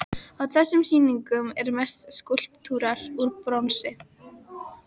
Á þessum sýningum eru mest skúlptúrar úr bronsi.